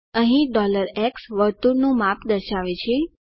અહીં x વર્તુળનું માપ દર્શાવે છે